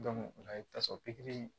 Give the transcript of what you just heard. o la i bɛ taa sɔrɔ pikiri